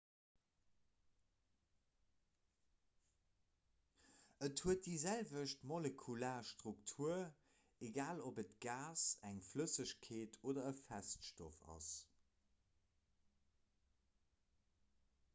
et huet déi selwecht molekular struktur egal ob et e gas eng flëssegkeet oder e feststoff ass